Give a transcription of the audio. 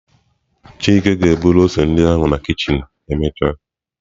Chike ga-eburu ose ndị ahụ na kichin emechaa.